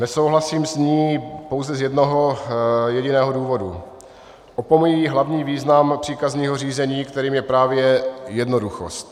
Nesouhlasím s ní pouze z jednoho jediného důvodu - opomíjí hlavní význam příkazního řízení, kterým je právě jednoduchost.